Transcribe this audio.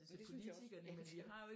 Det synes jeg også